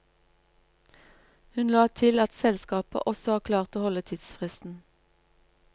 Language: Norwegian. Hun la til at selskapet også har klart å holde tidsfristen.